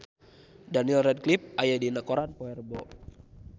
Daniel Radcliffe aya dina koran poe Rebo